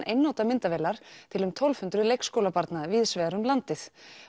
einnota myndavélar til um tólf hundruð leikskólabarna víðsvegar um landið